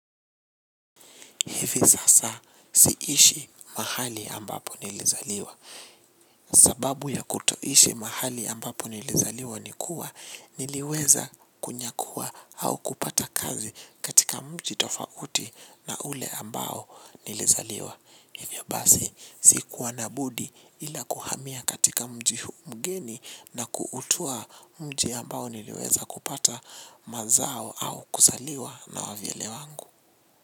Hivi sasa siishi mahali ambapo nilizaliwa. Sababu ya kutoishi mahali ambapo nilizaliwa nikua, niliweza kunyakua au kupata kazi katika mji tofauti na ule ambao nilizaliwa. Hivyo basi, sikuwa na budi ila kuhamia katika mji huu mgeni na kuutua mji ambao niliweza kupata mazao au kuzaliwa na wavyele wangu.